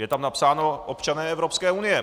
Je tam napsáno občané Evropské unie.